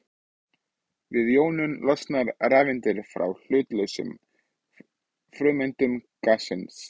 Við jónun losna rafeindir frá hlutlausum frumeindum gassins.